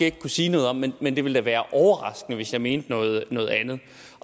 ikke kunne sige noget om men men det ville da være overraskende hvis jeg mente noget noget andet